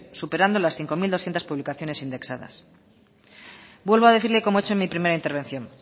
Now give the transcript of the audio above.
superando las cinco mil doscientos publicaciones indexadas vuelvo a decirle como he hecho en mi primera intervención